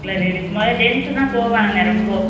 முத gents தான் போவாங்க ரொம்ப